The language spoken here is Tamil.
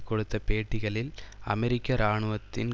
கொடுத்த பேட்டிகளில் அமெரிக்க இராணுவத்தின்